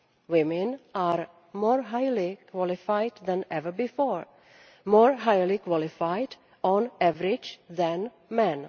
Women are more highly qualified than ever before, more highly qualified on average than men.